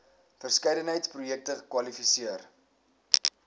verskeidenheid projekte kwalifiseer